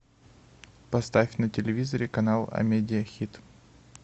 поставь на телевизоре канал амедиа хит